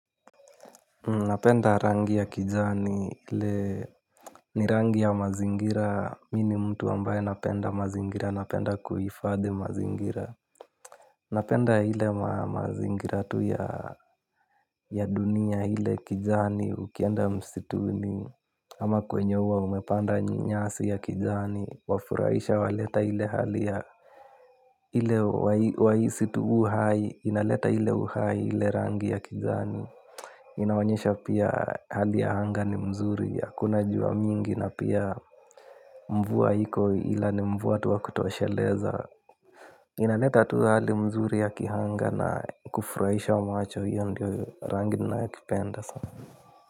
Napenda rangi ya kijani ile ni rangi ya mazingira mi ni mtu ambaye napenda mazingira napenda kuhifadhi mazingira. Napenda ile mazingira tu ya dunia ile kijani ukienda msituni. Ama kwenye huwa umepanda nyasi ya kijani wafurahisha waleta ile hali ya ile wahisi tu uhai inaleta ile uhai ile rangi ya kijani. Inaonyesha pia hali ya anga ni mzuri hakuna jua mingi na pia mvua iko ila ni mvua tu wa kutosheleza. Inaleta tu hali mzuri ya kianga na kufurahisha macho hiyo ndio rangi nayokipenda sana.